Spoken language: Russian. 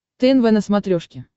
тнв на смотрешке